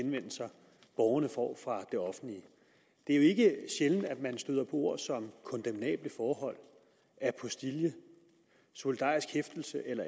henvendelser borgerne får fra det offentlige det er ikke sjældent at man støder på ord som kondemnable forhold apostille solidarisk hæftelse eller